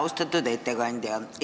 Austatud ettekandja!